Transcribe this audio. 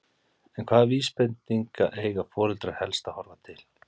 En hvaða vísbendinga eiga foreldrar helst að horfa til?